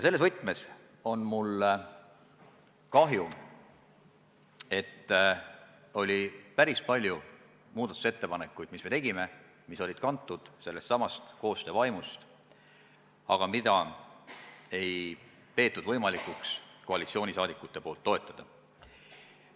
Selles võtmes on mul kahju, et meil oli päris palju muudatusettepanekuid, mis olid kantud sellestsamast koostöövaimust, aga neid ei peetud võimalikuks koalitsioonileeris toetada.